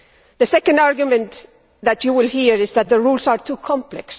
The second argument that you will hear is that the rules are too complex.